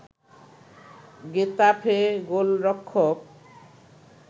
Getafe গোলরক্ষক